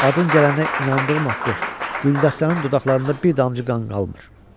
Adın gələndə inandığım haqqı, Güldastanın dodaqlarında bir damcı qan qalmır.